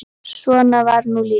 Svona var nú lífið.